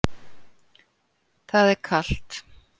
Það er kalt.